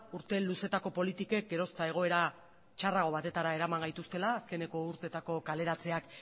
urte luzetako politikek geroz eta egoera txarrago batera eraman gaituztela azkeneko urtetako kaleratzeak